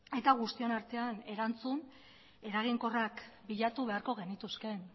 eta guztion artean erantzun eraginkorrak bilatu beharko genituzkeen